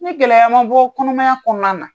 Ni gɛlɛya ma bɔ kɔnɔmaya kɔɔna na